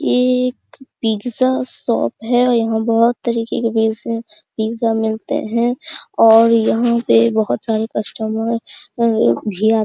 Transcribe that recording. ये एक pizza shop है और यहां बहुत तरीके के पिज्जा मिलते है और यहां पे बहुत सारे कस्टमर अ भी आते --